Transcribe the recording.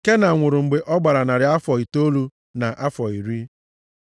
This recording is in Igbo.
Kenan nwụrụ mgbe ọ gbara narị afọ itoolu na afọ iri.